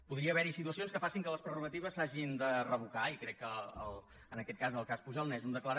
podria haver hi situacions que facin que les prerrogatives s’hagin de revocar i crec que en aquest cas el cas pujol n’és una de clara